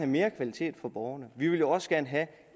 mere kvalitet for borgerne vi vil også gerne have